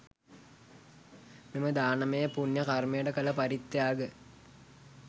මෙම දානමය පුණ්‍ය කර්මයට කළ පරිත්‍යාග